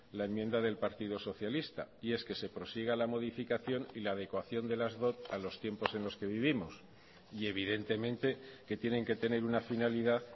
la enmienda del partido socialista y es que se prosiga la modificación y la adecuación de las dot a los tiempos en los que vivimos y evidentemente que tienen que tener una finalidad